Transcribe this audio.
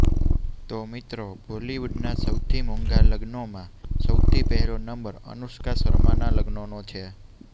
તો મિત્રો બોલીવુડના સૌથી મોંઘા લગ્નોમાં સૌથી પહેલો નંબર અનુષ્કા શર્માના લગ્નનો છે